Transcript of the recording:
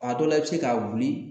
A dɔw la i bɛ se ka wuli